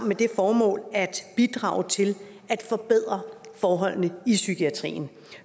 med det formål at bidrage til at forbedre forholdene i psykiatrien